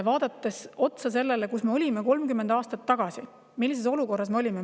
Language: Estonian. Vaatame otsa sellele, kus me olime 30 aastat tagasi, millises olukorras me olime.